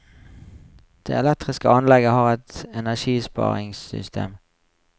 Det elektriske anlegget har et energisparingssystem.